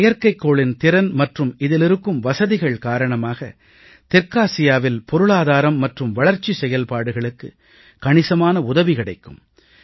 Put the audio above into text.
இந்த செயற்கைகோளின் திறன் மற்றும் இதில் இருக்கும் வசதிகள் காரணமாக தெற்காசியாவில் பொருளாதாரம் மற்றும் வளர்ச்சி செயல்பாடுகளுக்கு கணிசமான உதவி கிடைக்கும்